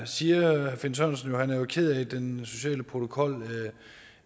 siger finn sørensen at han er ked af at den sociale protokol